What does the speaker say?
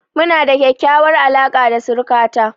Mu na da ƙyaƙyawar alaka da suruka ta